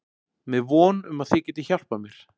Með von um að þið getið hjálpað mér.